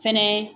Fɛnɛ